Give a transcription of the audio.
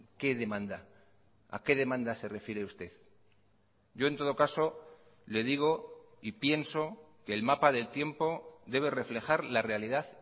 qué demanda a qué demanda se refiere usted yo en todo caso le digo y pienso que el mapa del tiempo debe reflejar la realidad